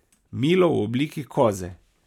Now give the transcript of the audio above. Milo v obliki koze.